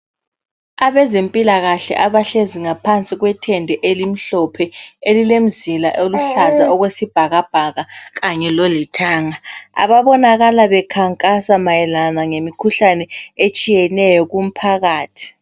Abezempilakahle abahlezi ngaphansi kwethende elimhlophe elilemzila oluhlaza okwesibhakabhaka kanye lolithanga. Ababonakala bekhankasa mayelana ngemikhuhlane etshiyeneyo kumphakathi.